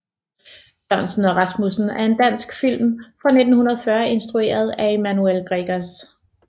Sørensen og Rasmussen er en dansk film fra 1940 instrueret af Emanuel Gregers